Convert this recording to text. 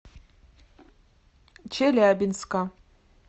челябинска